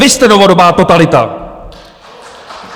Vy jste novodobá totalita!